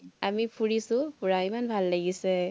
আমি ফুৰিছো, ফুৰা ইমান ভাল লাগিছে।